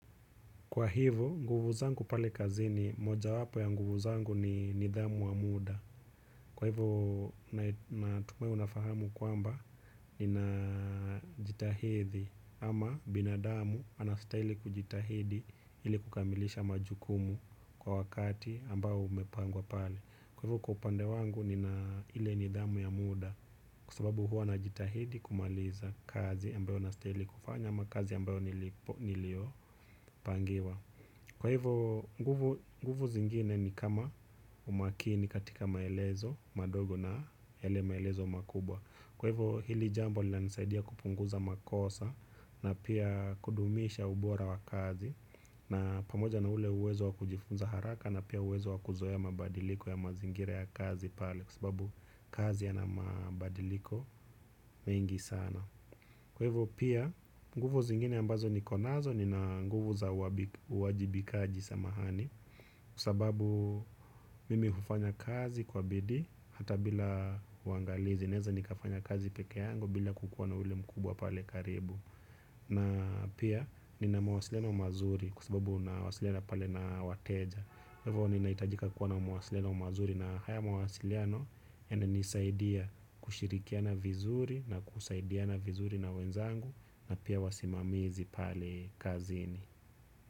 Kwa hivyo, nguvu zangu pale kazini, moja wapo ya nguvu zangu ni nidhamu wa muda. Kwa hivyo, natumai unafahamu kwamba ni na jitahidi ama binadamu anastaili kujitahidi ili kukamilisha majukumu kwa wakati ambao umepangwa pale. Kwa hivyo, kupande wangu ni na ile nidhamu ya muda kua sababu huwa najitahidi kumaliza kazi ambayo nastaili kufanya ama kazi ambayo nilio pangiwa. Kwa hivo nguvu zingine ni kama umakini katika maelezo madogo na ele maelezo makubwa. Kwa hivo hili jambo lina nisaidia kupunguza makosa na pia kudumisha ubora wa kazi. Na pamoja na ule uwezo wa kujifunza haraka na pia uwezo wa kuzoeya mabadiliko ya mazingira ya kazi pale sababu kazi yana mabadiliko mengi sana. Kwevo pia nguvu zingine ambazo nikonazo nina nguvu za wajibikaji samahani kua sababu mimi ufanya kazi kwa bidi hata bila uangalizi neza nikafanya kazi peke yangu bila kukuwa na ule mkubwa pale karibu. Na pia nina mawasiliano mazuri kwa sababu nawasiliana pale na wateja. Hivo ninahitajika kuwa na mawasiliano mazuri na haya mawasiliano yananisaidia kushirikiana vizuri na kusaidiana vizuri na wenzangu na pia wasimamizi pale kazini.